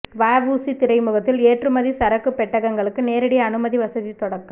வஉசி துறைமுகத்தில் ஏற்றுமதி சரக்குப் பெட்டகங்களுக்கு நேரடி அனுமதி வசதி தொடக்கம்